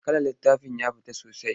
Kalar littafin ya fita sosai.